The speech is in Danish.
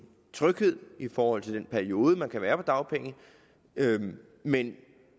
tryghed i forhold til den periode man kan være på dagpenge men